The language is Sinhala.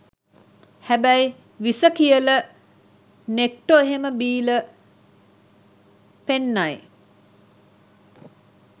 හැබැයි විස කියල නෙක්ටො ‍එහෙම බීල පෙන්නයි.